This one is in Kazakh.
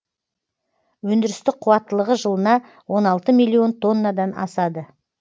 өндірістік қуаттылығы жылына он алты миллион тоннадан асады